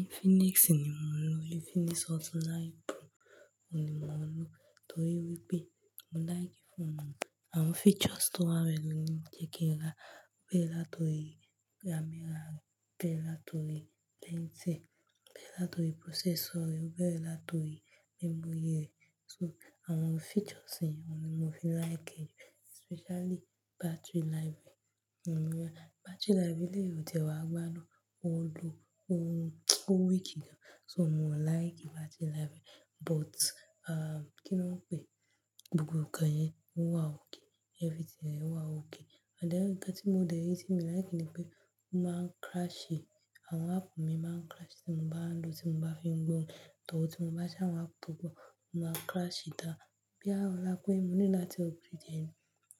Infinix ni mo ń lò, Infinix Hot 9 Pro ni mo ń lò torí wípé mo like fóònù ohun. Àwọn features tó wà nbe lo jẹ́ kí n rá a, ó bẹ́ẹ̀ látọ̀rí camera rẹ̀, ó bẹ́ẹ̀ látọ̀rí painting, ó bẹ́ẹ̀ látọ̀rí processor rẹ̀, ó bẹ́ẹ̀ látọ̀rí memory rẹ̀. So àwọn features yẹn ni mo fi ń láiki rẹ, especially battery life rẹ̀. Battery life elẹ̀ yii ò tiẹ́ wà gbádun, ó lu-- ó ó weak gan. So mo lìke battery life rẹ̀ but, à, kí ni wọ́n pè? Gbogbo nkan yẹn ó wà ókay, everything rẹ̀ wà ókay. And then nnkan tí mo dẹ̀ rí tí mi like ni pé ó máa ń crash-ẹ. Àwọn app mi máa ń crash tí mo bá ń lò ó, tí mo bá fi ń gbọ́, torí tí mo bá ṣí àwọn app tó pọ̀, ó máa n crash down. Boya ọ̀la pé mo needí láti upgrade díẹ̀ ni